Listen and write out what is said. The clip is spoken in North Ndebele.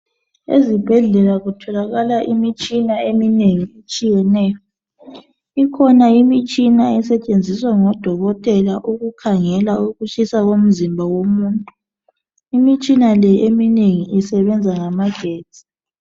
Ezibhedlela kutholakala imitshina eminengi etshiyeneyo. Ikhona imitshina esetshenziswa ngodokotela ukukhangela ukutshisa komzimba womuntu. Imitshina le eminengi isebenza ngamagetsi.